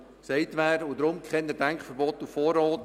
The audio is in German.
Deshalb kein Denkverbot auf Vorrat!